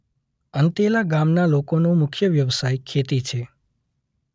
અંતેલા ગામના લોકોનો મુખ્ય વ્યવસાય ખેતી છે.